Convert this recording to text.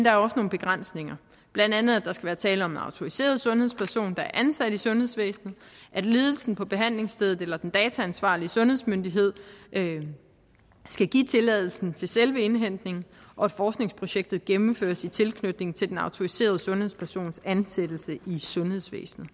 er også nogle begrænsninger blandt andet at der skal være tale om en autoriseret sundhedsperson der er ansat i sundhedsvæsenet at ledelsen på behandlingsstedet eller den dataansvarlige sundhedsmyndighed skal give tilladelsen til selve indhentningen og at forskningsprojektet gennemføres i tilknytning til den autoriserede sundhedspersons ansættelse i sundhedsvæsenet